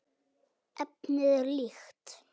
Efnið er líkt.